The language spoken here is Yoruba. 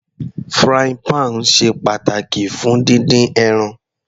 Frying pan ṣe pàtàkì fún dídín ẹran.